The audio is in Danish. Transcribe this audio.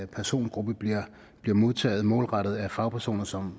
persongruppe bliver modtaget målrettet af fagpersoner som